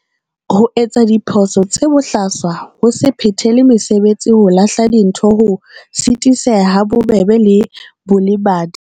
Ho etsa diphoso tse bohlaswa ho se phethele mesebetsi ho lahla dintho ho sitiseha ha bobebe le bolebadi.